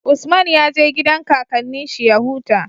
Usman ya je gidan kakannin shi ya huta